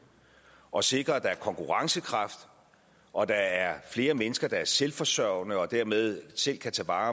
og at sikre at der er konkurrencekraft og at der er flere mennesker der er selvforsørgende og dermed selv kan tage vare